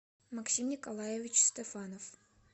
максим николаевич стефанов